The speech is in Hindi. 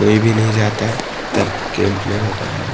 कोई भी नहीं जाता है जब गेम प्ले होता है।